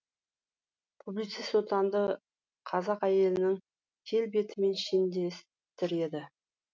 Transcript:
публицист отанды қазақ әйелінің келбетімен шендестіреді